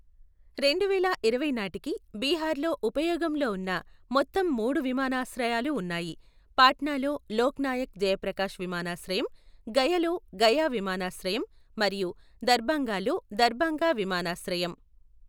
రెండువేల ఇరవై నాటికి బీహార్లో ఉపయోగంలో ఉన్న మొత్తం మూడు విమానాశ్రయాలు ఉన్నాయి. పాట్నాలో లోక్ నాయక్ జయప్రకాశ్ విమానాశ్రయం, గయలో గయా విమానాశ్రయం మరియు దర్భంగాలో దర్భంగా విమానాశ్రయం.